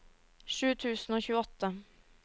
sju tusen og tjueåtte